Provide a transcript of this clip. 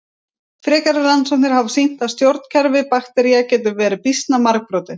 Frekari rannsóknir hafa sýnt að stjórnkerfi baktería geta verið býsna margbrotin.